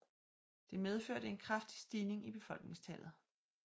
Det medførte en kraftig stigning i befolkningstallet